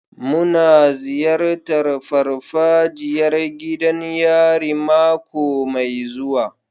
Muna ziyartar farfajiyar gidan yari mako mai zuwa.